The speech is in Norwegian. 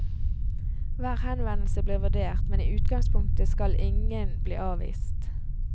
Hver henvendelse blir vurdert, men i utgangspunktet skal ingen skal bli avvist.